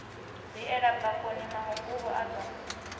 viela bakoni mahunguvhu a do